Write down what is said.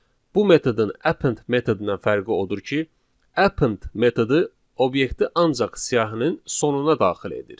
Bu metodun append metodundan fərqi odur ki, append metodu obyekti ancaq siyahının sonuna daxil edir.